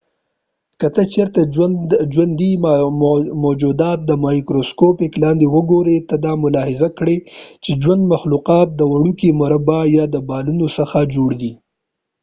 که ته چېرته ژوندي موجودات د مایکروسکوپ لاندې وګوری ته دا ملاحظه کړي چې ژوندي مخلوقات د وړوکې مربع یا د بالونوڅخه جوړ دي